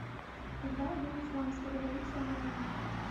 когда был исламская революция в иране